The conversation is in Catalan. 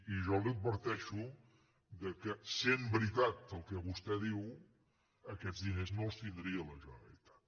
i jo l’adverteixo que sent veritat el que vostè diu aquests diners no els tindria la generalitat